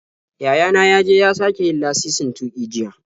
Yaya na ya je ya sake yin lasisin tuƙi jiya.